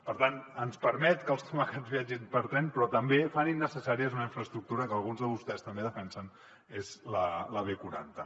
per tant ens permet que els tomàquets viatgin per tren però també fa innecessària una infraestructura que alguns de vostès també defensen és la b quaranta